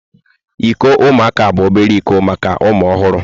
Iko ụmụaka bụ obere iko maka ụmụ ọhụrụ.